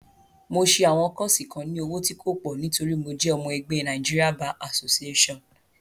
Mo ṣẹ àwọn kọ́ọ́ṣì kan ní owó tí kò pọ̀ nítorí mo jẹ́ ọmọ ẹgbé Nigeria Bar Association.